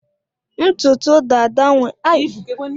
Ibu dada enwere ike ibute ntụtụ isi gi ime ntibi.